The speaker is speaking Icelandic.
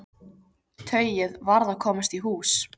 Tauið varð að komast í hús.